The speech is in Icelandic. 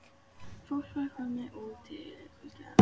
Fólk var komið út til að fylgjast með heimkomunni.